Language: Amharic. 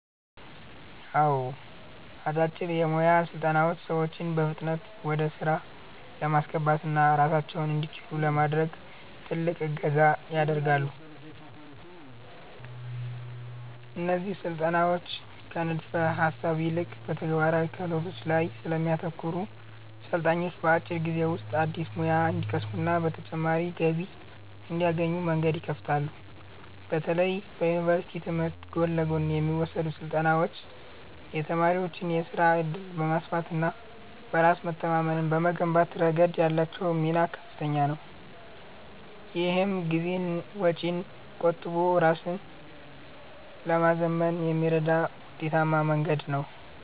አዎ፣ አጫጭር የሞያ ስልጠናዎች ሰዎችን በፍጥነት ወደ ሥራ ለማስገባትና ራሳቸውን እንዲችሉ ለማድረግ ትልቅ እገዛ ያደርጋሉ። እነዚህ ስልጠናዎች ከንድፈ-ሐሳብ ይልቅ በተግባራዊ ክህሎቶች ላይ ስለሚያተኩሩ፣ ሰልጣኞች በአጭር ጊዜ ውስጥ አዲስ ሙያ እንዲቀስሙና ተጨማሪ ገቢ እንዲያገኙ መንገድ ይከፍታሉ። በተለይ በዩኒቨርሲቲ ትምህርት ጎን ለጎን የሚወሰዱ ስልጠናዎች የተማሪዎችን የሥራ ዕድል በማስፋትና በራስ መተማመንን በመገንባት ረገድ ያላቸው ሚና ከፍተኛ ነው። ይህም ጊዜንና ወጪን ቆጥቦ ራስን ለማዘመን የሚረዳ ውጤታማ መንገድ ነው።